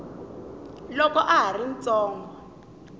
loko a ha ri ntsongo